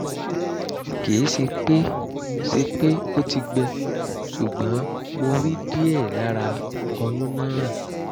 kì í ṣe pé ṣe pé ó ti gbẹ ṣùgbọ́n mo rí díẹ̀ lára ọyún náà